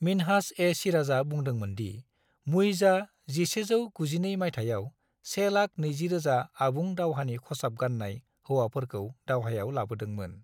मिन्हाज-ए-सिराजआ बुंदोंमोन दि मुइजआ 1192 माइथायाव 120,000 आबुं दावहानि खसाब गान्नाय हौवाफोरखौ दावहायाव लाबोदोंमोन।